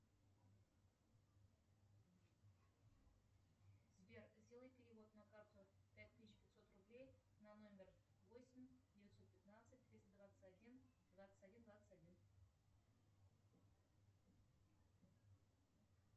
сбер сделай перевод на карту пять тысяч пятьсот рублей на номер восемь девятьсот пятнадцать триста двадцать один двадцать один двадцать один